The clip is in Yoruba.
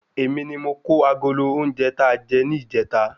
Èmi ni mo kó agolo oúnjẹ tà jẹ ni ijeta